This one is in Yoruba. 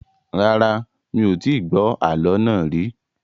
Rárá, mi ò tí gbọ́ àálọ́ náà rì